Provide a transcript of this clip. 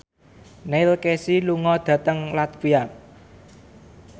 Neil Casey lunga dhateng latvia